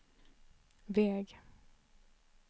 väg